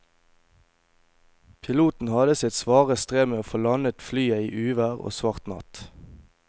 Piloten hadde sitt svare strev med å få landet flyet i uvær og svart natt.